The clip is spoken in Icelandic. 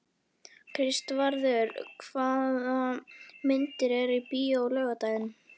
Kristvarður, hvaða myndir eru í bíó á laugardaginn?